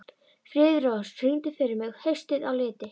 Friðrós, syngdu fyrir mig „Haustið á liti“.